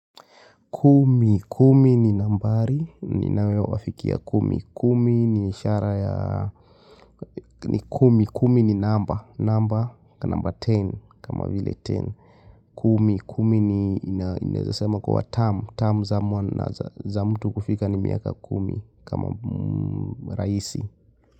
Kumi, kumi ni nambari, ni nawewa wafikiya kumi, kumi ni ishara ya, ni kumi, kumi ni namba, namba, namba ten, kama vile ten, kumi, kumi ni inezasema kwa term, term za mtu kufika ni miaka kumi, kama raisi.